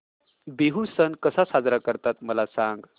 बिहू सण कसा साजरा करतात मला सांग